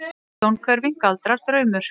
Sjónhverfing, galdrar, draumur?